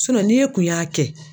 ni e kun y'a kɛ.